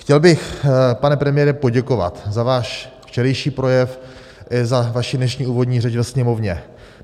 Chtěl bych, pane premiére, poděkovat za váš včerejší projev i za vaši dnešní úvodní řeč ve Sněmovně.